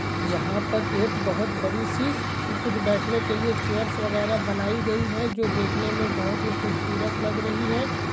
यहा पर एक बहुत बड़ी सी कुछ बेढ़ने के लिए चेयर्स वगैरा बनाई गई है जो देखने मे बहुत ही खूबसूरत लग रही है।